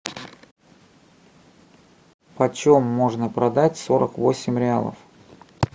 почем можно продать сорок восемь реалов